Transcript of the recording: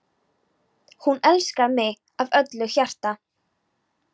Hún elskaði mig af öllu hjarta.